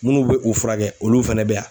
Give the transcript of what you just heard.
Munnu be u furakɛ olu fɛnɛ bɛ yan.